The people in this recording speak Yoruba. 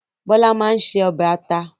Bọ́lá máa ń ṣe ọbẹ̀ ata